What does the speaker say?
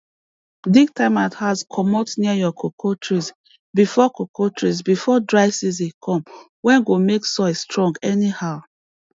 dig termite house comot near your cocoa trees before cocoa trees before dry season come wey go make soil strong anyhow